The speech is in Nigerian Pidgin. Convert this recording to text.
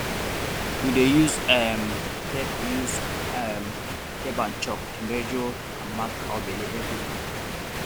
we dey use um tape use um tape and chalk to measure and mark cow belle every week